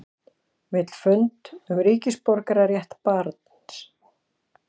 Vill fund um ríkisborgararétt barns